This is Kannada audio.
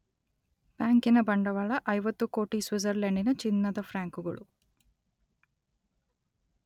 ಬ್ಯಾಂಕಿನ ಬಂಡವಾಳ ಐವತ್ತು ಕೋಟಿ ಸ್ವಿಟ್ಜರ್ಲೆಂಡಿನ ಚಿನ್ನದ ಫ್ರಾಂಕುಗಳು.